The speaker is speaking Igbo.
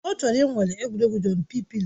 Ọ chọrọ ịnwale egwuregwu Jọmpị pịlo